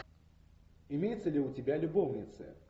имеется ли у тебя любовницы